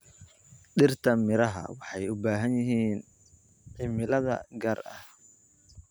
Dhirta miraha waxay u baahan yihiin cimilada gaarka ah.